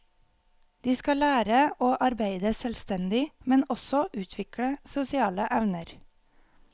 De skal lære å arbeide selvstendig, men også utvikle sosiale evner.